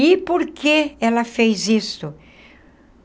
E por que ela fez isso?